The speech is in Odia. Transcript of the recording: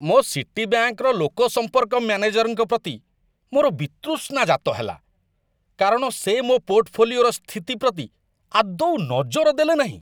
ମୋ ସିଟିବ୍ୟାଙ୍କର ଲୋକସମ୍ପର୍କ ମ୍ୟାନେଜରଙ୍କ ପ୍ରତି ମୋର ବିତୃଷ୍ଣା ଜାତ ହେଲା, କାରଣ ସେ ମୋ ପୋର୍ଟଫୋଲିଓର ସ୍ଥିତି ପ୍ରତି ଆଦୌ ନଜର ଦେଲେ ନାହିଁ।